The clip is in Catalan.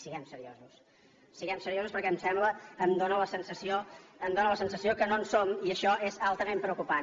siguem seriosos siguem seriosos perquè em sembla em dóna la sensació que no en som i això és altament preocupant